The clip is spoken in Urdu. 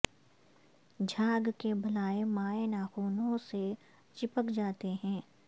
جھاگ کے بلاے مائع ناخنوں سے چپک جاتے ہیں